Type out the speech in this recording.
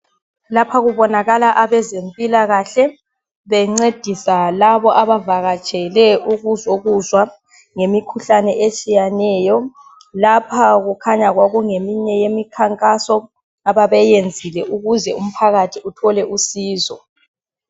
Lapha kubonakala abezempilakahle bencedisa laba abavakatshele ukuzokuzwa ngemikhuhlane etshiyeneyo. Lapha kukhanya kwakungeyinye yemikhankaso ababeyiyenzile ukuze umphakathi uthole usizo.